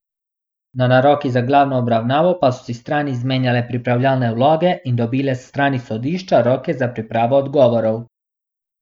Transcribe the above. Na narokih za glavno obravnavo pa so si strani izmenjale pripravljalne vloge in dobile s strani sodišča roke za pripravo odgovorov.